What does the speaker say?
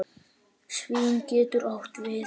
Svín getur átt við